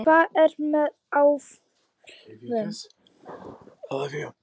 Hvað er með álfum?